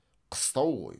қыстау ғой